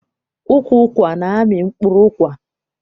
Ukwu ụkwa na-amị mkpụrụ ụkwa.